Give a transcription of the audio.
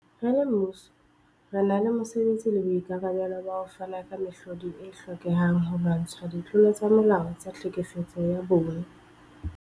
Re le mmuso, re na le mosebetsi le boikarabelo ba ho fana ka mehlodi e hlokehang holwantshwa ditlolo tsa molao tsa tlhekefetso ya bong.